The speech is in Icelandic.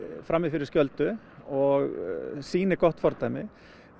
frami fyrir skjöldu og sýni gott fordæmi